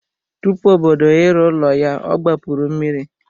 Tupu obodo ịrụ ụlọ ya ọ gbapuru mmiri.